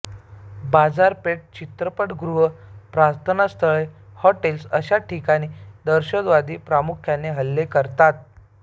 बाजारपेठा चित्रपटगृहे प्रार्थनास्थळे हॉटेल्स अशा ठिकाणी दहशतवादी प्रामुख्याने हल्ले करतात